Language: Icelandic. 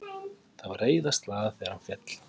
Það var reiðarslag þegar hann féll.